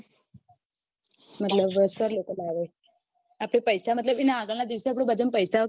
મતલબ sir લોકો લાવે આપડે પૈસા મતલબ એના આગળ ના દિવસે પૈસા